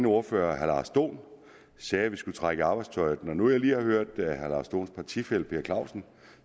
ordførerne herre lars dohn sagde at vi skulle trække i arbejdstøjet når nu jeg lige har hørt herre lars dohns partifælle herre per clausen